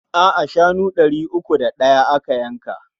A'a, shanu ɗari uku da ɗaya aka yanka.